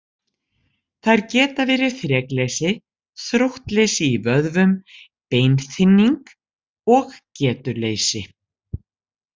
Þær geta verið þrekleysi, þróttleysi í vöðvum, beinþynning og getuleysi.